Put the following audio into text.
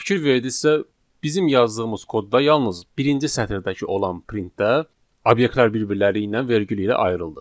Fikir verdinizsə, bizim yazdığımız kodda yalnız birinci sətirdəki olan printdə obyektlər bir-birləri ilə vergül ilə ayrıldı.